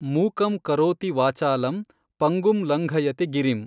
ಮೂಕಂ ಕರೋತಿ ವಾಚಾಲಂ ಪಂಗುಂ ಲಂಘಯತೆ ಗಿರಿಮ್।